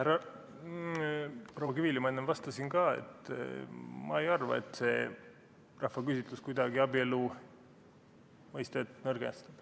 Proua Kivile ma enne vastasin ka, et ma ei arva, et see rahvaküsitlus kuidagi abielu mõistet nõrgestab.